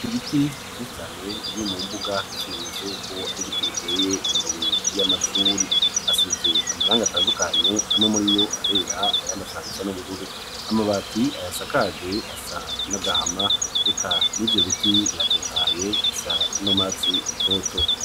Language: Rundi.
ibiti vyinshi cane biri mu mbuga nk'ikimenyetso yuko ari biti biteye imbere y'amashuri. Asize amaranga atandukanye amwe muri yo arera ayanda ashaka gusa n'ubururu. Amabati ayasakaje asa n'agahama eka n'ivyo biti biratotaye bisa n'urwatsi rutoto.